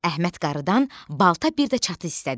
Əhməd qarıdan balta bir də çatı istədi.